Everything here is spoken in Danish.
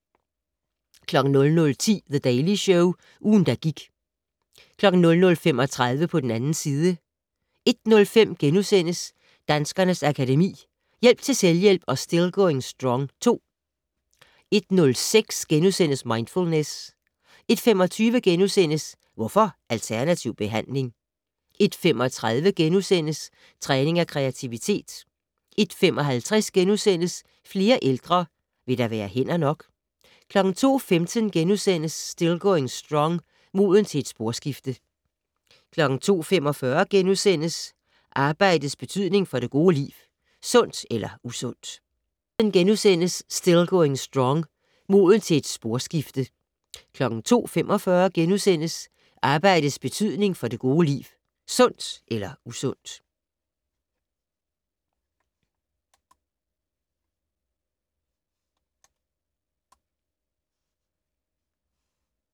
00:10: The Daily Show - ugen, der gik 00:35: På den 2. side 01:05: Danskernes Akademi: Hjælp til selvhjælp og Still Going Strong II * 01:06: Mindfulness * 01:25: Hvorfor alternativ behandling? * 01:35: Træning af kreativitet * 01:55: Flere ældre - vil der være hænder nok? * 02:15: Still Going Strong - Moden til et sporskifte * 02:45: Arbejdets betydning for det gode liv - sundt eller usundt? *